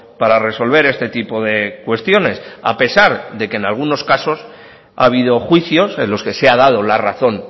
para resolver este tipo de cuestiones a pesar de que en algunos casos ha habido juicios en los que se ha dado la razón